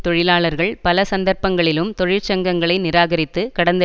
தொழிலாளர்கள் பல சந்தர்ப்பங்களிலும் தொழிற்சங்கங்களை நிராகரித்து கடந்த